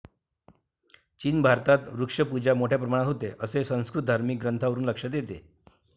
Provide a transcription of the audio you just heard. चीन भारतात वृक्षपूजा मोठ्या प्रमाणात होते, असे संस्कृत धार्मिक ग्रंथांवरून लक्षात येते.